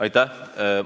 Aitäh!